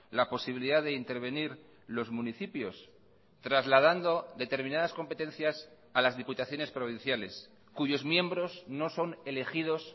la posibilidad de intervenir los municipios trasladando determinadas competencias a las diputaciones provinciales cuyos miembros no son elegidos